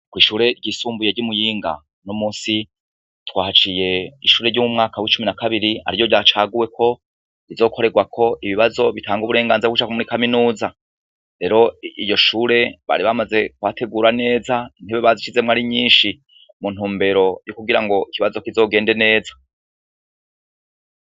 Kw'ishure ryisumbuye ry'i Muyinga, uno musi twahaciye ishure ryo mu mwaka w'icumi na kabiri ari ryo ryacaguwe ko rizokorerwako ibibazo bitanga uburenganzira bwo kuja muri kaminuza. Rero iryo shure, bari bamaze kuhategura neza, intebe bazishizemwo ari nyishi mu ntumbero yo kugira ngo ikibazo kizogende neza.